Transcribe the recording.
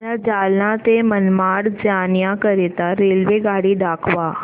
मला जालना ते मनमाड जाण्याकरीता रेल्वेगाडी दाखवा